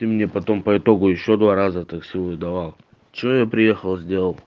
ты мне потом по итогу ещё два раза такси выдавал что я приехал сделал